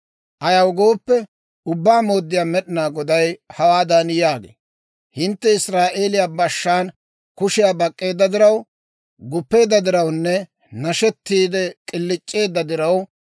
« ‹Ayaw gooppe, Ubbaa Mooddiyaa Med'inaa Goday hawaadan yaagee; «Hintte Israa'eeliyaa bashshaan kushiyaa bak'k'eedda diraw, guppeedda dirawunne nashettiide k'iliic'eedda diraw,